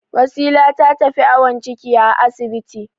Wasila ta tafi awon ciki a asibiti.